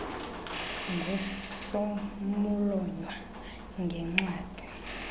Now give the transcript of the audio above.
ngus mlotywa ngencwadi